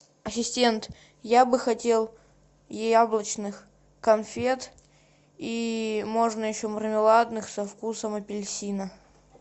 ассистент я бы хотел яблочных конфет и можно еще мармеладных со вкусом апельсина